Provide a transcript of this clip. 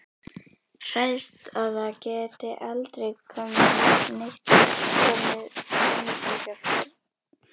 Hræðist að það geti aldrei neitt komið henni til hjálpar.